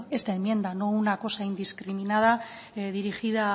esta enmienda no una cosa indiscriminada dirigida